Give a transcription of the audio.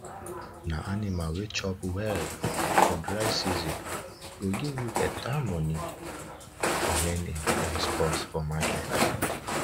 na anima wey chop well for for dry season go give you beta moni wen im price cost for market